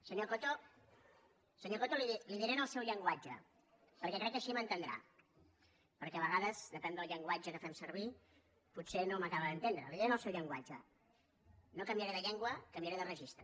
senyor coto li ho diré en el seu llenguatge perquè crec que així m’entendrà perquè a vegades de pèn del llenguatge que fem servir potser no m’acaba d’entendre li ho diré en el seu llenguatge no canviaré de llengua canviaré de registre